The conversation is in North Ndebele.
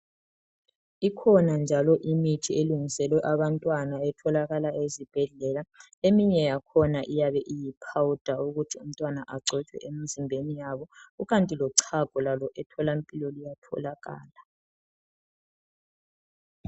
Ikhona njalo imithi elungiselwe abantwana etholakala ezibhedlela eminye yakhona iyabe iyi powder ukuthi umntwana agcobe emzimbeni yabo, lochago luyatholakala emtholampilo